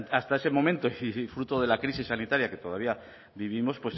hasta ese momento y fruto de la crisis sanitaria que todavía vivimos